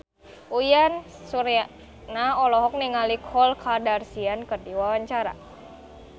Uyan Suryana olohok ningali Khloe Kardashian keur diwawancara